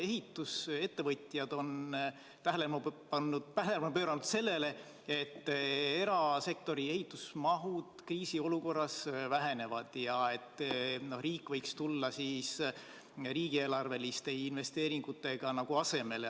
Ehitusettevõtjad on tähelepanu pööranud sellele, et erasektori ehitusmahud kriisiolukorras vähenevad ja riik võiks tulla riigieelarveliste investeeringutega asemele.